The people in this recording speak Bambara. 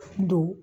Don